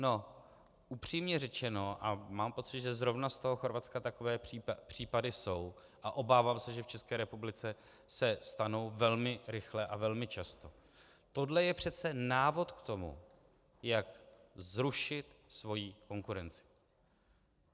No, upřímně řečeno - a mám pocit, že zrovna z toho Chorvatska takové případy jsou a obávám se, že v České republice se stanou velmi rychle a velmi často - tohle je přece návod k tomu, jak zrušit svoji konkurenci.